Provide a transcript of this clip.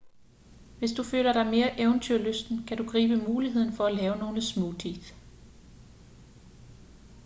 hvis du føler dig mere eventyrlysten kan du gribe muligheden for at lave nogle smoothies